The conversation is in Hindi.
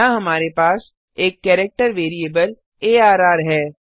यहाँ हमारे पास एक केरेक्टर वेरिएबल अर्र है